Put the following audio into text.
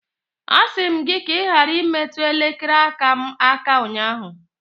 A sị m gị ka ị ghara imetụ elekere aka m aka ụnyahụ.